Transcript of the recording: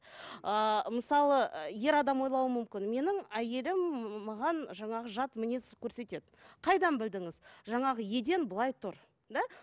ыыы мысалы ер адам ойлауы мүмкін менің әйелім маған жаңағы жат мінез көрсетеді қайдан білдіңіз жаңағы еден былай тұр да